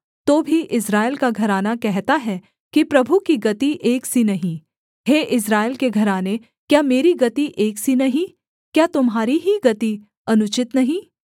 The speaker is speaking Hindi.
तो भी इस्राएल का घराना कहता है कि प्रभु की गति एक सी नहीं हे इस्राएल के घराने क्या मेरी गति एक सी नहीं क्या तुम्हारी ही गति अनुचित नहीं